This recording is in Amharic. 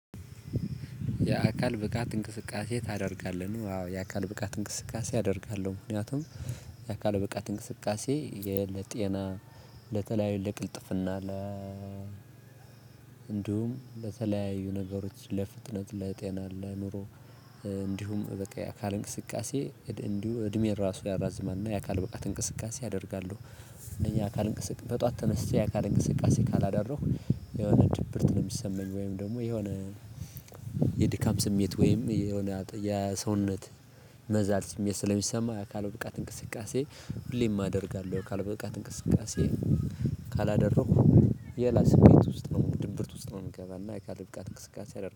የአካል ብቃት እንቅስቃሴ ታደርጋለህ ነው? ያው የአካል ብቃት እንቅስቃሴ አደርጋለሁ ምክንያቱም የአካል ብቃት እንቅስቃሴ ለጤና ለተለያዩ ለቅልጥፍና ለ እንዲሁም ለተለያዩ ነገሮች ለፍጥነት ለጤና ለአእምሮ እንዲሁም በቃ የአካል እንቅስቃሴ እንዲሁ እድሜን ራሱ ያራዝማልና የአካል ብቃት እንቅስቃሴ አደርጋለው። እኛ አካል እንቅስቅ በጧት ተነስቼ አካል እንቅስቃሴ ካላዳረሁ የሆነ ድብርት ነው የሚሰማኝ። ወይም ደሞ የሆነ የድካም ስሜት ወይም የሆነ የሰውነት መዛል ስሜት ስለሚሰማ የአካል ብቃት እንቅስቃሴ ሁሌም አደርጋለሁ። ካልበቃት እንቅስቃሴ ካላደረኩህ የላስሜት ውስጥ ነው ድብርት ውስጥ ነው ምገባ እና እካልን ብቃት እንቅስቃሴ አደር